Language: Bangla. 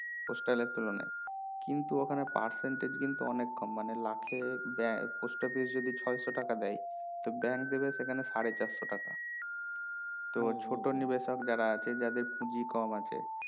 postal এর তুলনায় কিন্তু ওখানে percentage কিন্তু অনেক কম মানে লাখে দেয় post office যদি ছয়শো টাকা দেয় তো bank দেবে সেখানে সাড়ে চারশো টাকা তো ছোটো নিবেশক যারা আছে যাদের পুঁজি কম আছে